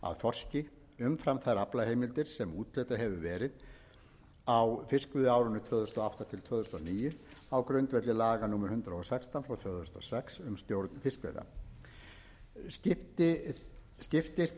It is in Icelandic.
af þorski umfram þær aflaheimildir sem úthlutað hefur verið á fiskveiðiárinu tvö þúsund og átta til tvö þúsund og níu á grundvelli laga númer hundrað og sextán tvö þúsund og sex um stjórn fiskveiða